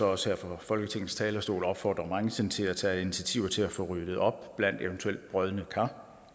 også her fra folketingets talerstol opfordre branchen til at tage initiativer til at få ryddet op blandt eventuel brodne kar